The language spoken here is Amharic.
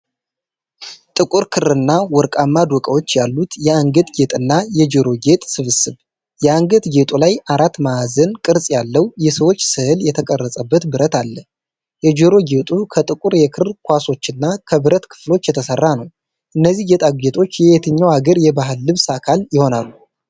ጥቁር ክርና ወርቃማ ዶቃዎች ያሉት የአንገት ጌጥና የጆሮ ጌጥ ስብስብ። የአንገት ጌጡ ላይ አራት ማዕዘን ቅርጽ ያለው፣ የሰዎች ሥዕል የተቀረጸበት ብረት አለ። የጆሮ ጌጡ ከጥቁር የክር ኳሶችና ከብረት ክፍሎች የተሰራ ነው። እነዚህ ጌጣጌጦች የየትኛው አገር የባህል ልብስ አካል ይሆኑ?